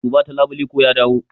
Duba ta labule ko ya dawo.